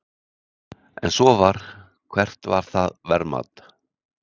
Ef svo var, hvert var það verðmat?